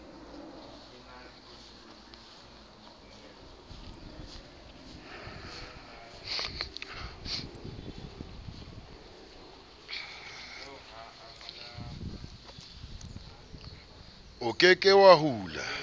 o ke ke wa hula